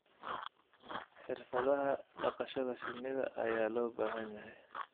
Xirfadaha dhaqashada shinnida ayaa loo baahan yahay.